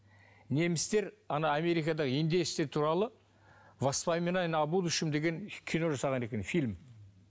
немістер ана америкада индеецтер туралы воспоминания о будущем деген кино жасаған екен фильм